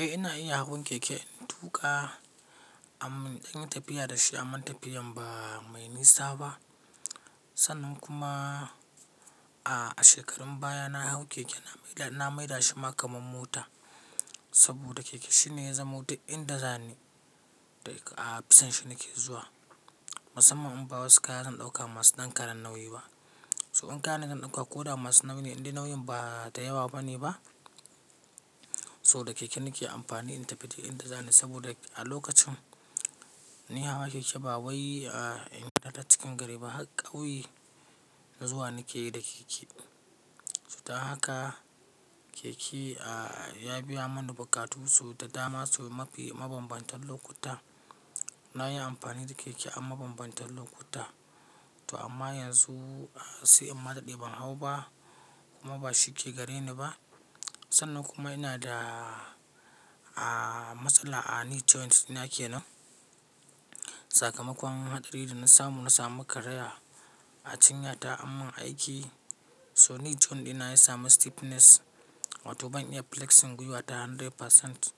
Eh ina iya hawan keke. In tuƙa, amma idan ina tafiya da shi a man tafiyan ba mai nisa ba. Sannan kuma a shekarun baya na hau keke na maida shi ma kaman mota saboda keke shine ya zama motar inda za ni a bisan shi nake zuwa. Musamman in bawa wasu kaya zan ɗauka masu ɗan karan nauyi ba. So in kayan da zan ɗauka ko da masu nauyi ne inda nauyin ba ta yawa bane ba. So da keke nake amfani in tafi da inda za ni saboda a lokacin ina hawa keke ba wai a ina da cikin gari ba, har ƙauye zuwa nake yi da keke. To ta haka keke ya biya mana buƙatu su da dama so mabambantan lokuta. Na yi amfani da keke a mabambantan lokuta. To amma yanzu sai in mataɗi ban hau ba kuma ba shi ke gare ni ba. Sannan kuma ina da matsala a knee joint dina ke nan. Sakamakon haɗari da na samu, na sami karaya a cinyata ammin aiki. To knee joint dina ya sami stiffness wato ban iya flexing gwiwata 100%.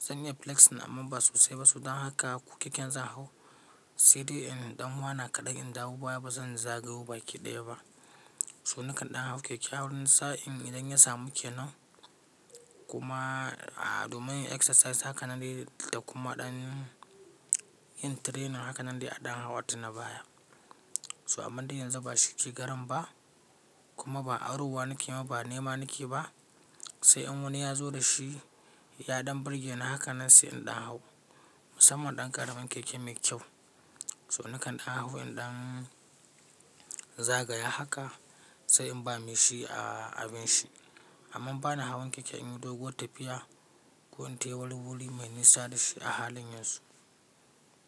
Zan iya flexing amma ba sosai ba. To dan haka keke zan hau sai dai in ɗan wana kaɗai in dawo baya ba zan zagaya baki ɗaya ba. To nakan ɗan hau keke awurin sa'in idan ya samu ke nan kuma a domin yin exercise haka nan dai da kuma ɗan yin training haka nan dai a ɗan hau wata na baya. To amma dai yanzu ba shi ke garen ba kuma ba a rowa nake ma ba nema nake ba. Sai in wani ya zo da shi, ya ɗan burge ni haka nan sai in ɗan hau. Musamman ɗan karamin keke mai kyau. To nakan ɗan hau in ɗan zagaya haka sai in ba me shi a abin shi. Amman bana hawan keke in yi doguwar tafiya ko ta wuri-wuri mai nisa da shi a halin yanzu.